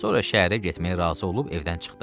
Sonra şəhərə getməyə razı olub evdən çıxdı.